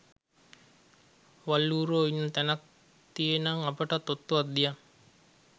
වල් ඌරෝ ඉන්න තැනක් තියේනම් අපටත් ඔත්තුවක් දියන්